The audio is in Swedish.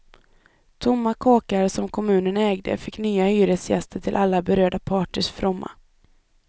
Tomma kåkar som kommunen ägde fick nya hyresgäster till alla berörda parters fromma.